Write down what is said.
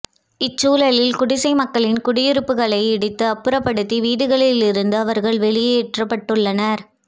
இச்சூழலில் குடிசை மக்களின் குடியிருப்புகளை இடித்து அப்புறப்படுத்தி வீடுகளில் இருந்து அவர்கள் வெளியேற்றப்பட்டுள்ளனர்